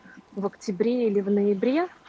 в октябре или в ноябре